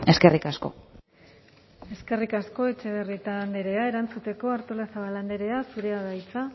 eskerrik asko eskerrik asko etxebarrieta andrea erantzuteko artolazabal andrea zurea da hitza